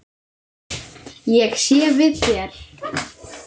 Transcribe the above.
Ég sé við þér.